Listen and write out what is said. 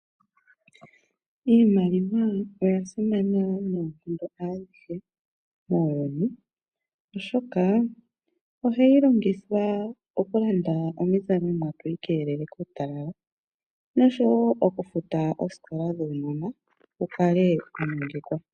Iimaliwa oya simana noonkondo adhihe muuyuni, oshoka ohayi longithwa okulanda iizalomwa tu ikeelele kuutatalala, noshowo okufuta osikola dhuunona wu kale wa nongekwa.